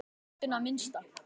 Látinna minnst.